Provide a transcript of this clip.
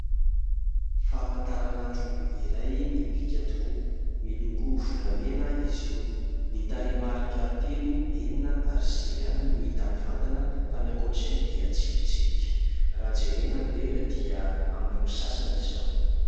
Famantaran'andro iray mibika tokoa, miloko volamena izy io, ny tarehimarika telo, enina ary sivy ihany no hita mivantana fa ny ankoatr'izay dia tsipitsipika, raha jerena ny lera dia amin'ny roa sy sasany izao.